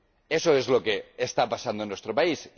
Eso es lo que está pasando en nuestro país.